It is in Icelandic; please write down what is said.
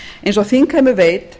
eins og þingheimur veit